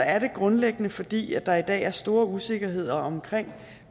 er det grundlæggende fordi der i dag er stor usikkerhed omkring